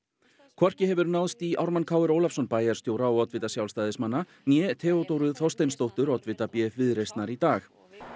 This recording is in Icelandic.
hvorki hefur náðst í Ármann Kr Ólafsson bæjarstjóra og oddvita Sjálfstæðismanna né Theodóru Þorsteinsdóttur oddvita b f Viðreisnar í dag